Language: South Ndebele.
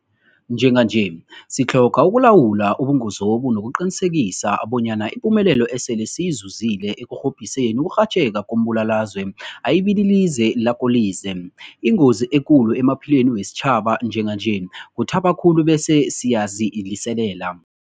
Njenganje sitlhoga ukulawula ubungozobu nokuqinisekisa bonyana ipumelelo esele siyizuzile ekurhobhiseni ukurhatjheka kombulalazwe ayibililize lakolize. Ingozi ekulu emaphilweni wesitjhaba njenganje kuthaba khulu bese siyaziliselela.